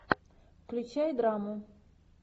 включай драму